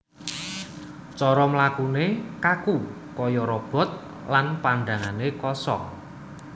Cara mlakune kaku kaya robot lan pandhangane kosong